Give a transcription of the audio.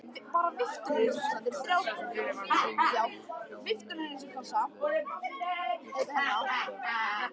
Húsafellsskógur teygði úr trjánum og laufblöðin glitruðu af dögg.